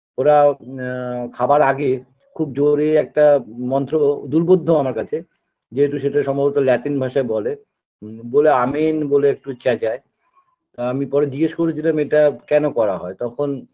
ওরা এ খাবার আগে খুব জোড়ে একটা মন্ত্র দূর্বুদ্ধ আমার কাছে যেহেতু সেটা সম্ভবত ল্যাটিন ভাষায় বলে বলে আমিন বলে একটু চেঁচায় আমি পরে জিজ্ঞেস করেছিলাম এটা কেন করা হয় তখন